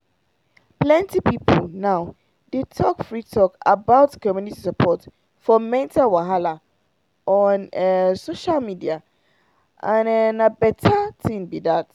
plenty people now dey talk free talk about community support for mental wahala on um social media and um na better thing be that.